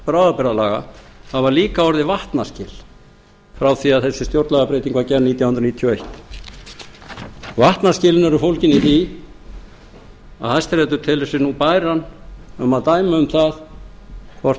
bráðabirgðalaga hafa líka orðið vatnaskil frá háttvirtri að þessi stjórnlagabreyting var gerð nítján hundruð níutíu og eitt vatnaskilin eru fólgin í því að hæstiréttur telur sig nú bæran um að dæma um